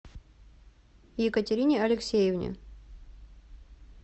екатерине алексеевне